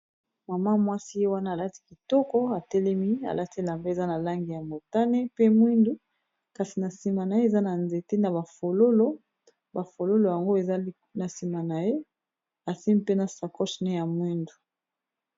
mama mwasi ye wana alati kitoko atelemi alatela mpe eza na lange ya motane pe mwindu kasi na nsima na ye eza na nzete na bafololo bafololo yango eza na nsima na ye asi mpena sacochne ya mwindu